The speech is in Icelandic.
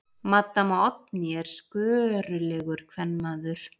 Maddama Oddný er skörulegur kvenmaður.